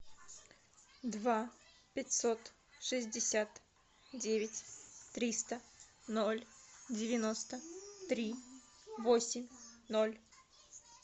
два пятьсот шестьдесят девять триста ноль девяносто три восемь ноль